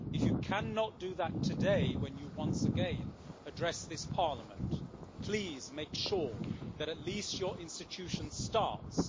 If you cannot do that today when you once again address this Parliament, please make sure that at least your institution starts to back up the true feelings of the